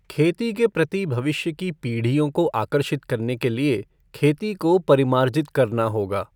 खेती के प्रति भविष्य की पीढ़ियों को आकर्षित करने के लिए खेती को परिमार्जित करना होगा।